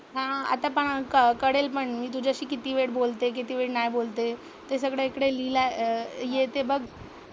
हा, आता पहा का कळेल पण मी तुझ्याशी किती वेळ बोलते, किती वेळ नाही बोलते, ते सगळं इकडे लिहिलंय अं येते बघ.